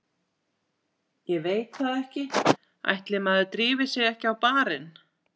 Ég veit það ekki, ætli maður drífi sig ekki á barinn.